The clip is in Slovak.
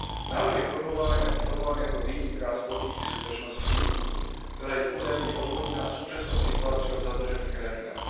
Návrhy formulované ako výnimka z politiky súdržnosti, ktorá je údajne odôvodnená súčasnou situáciou v zadlžených krajinách.